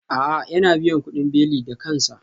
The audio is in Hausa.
A'a, yana biyan kudin belin da kansa